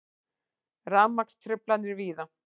Rafmagnstruflanir víða